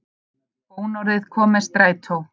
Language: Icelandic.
Bónorðið kom með strætó